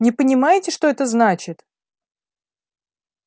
не понимаете что это значит